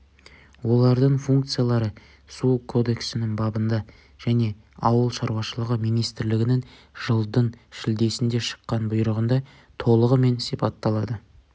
олардың функциялары су кодексінің бабында және ауыл шаруашылығы министрлігінің жылдың шілдесінде шыққан бұйрығында толығымен сипатталады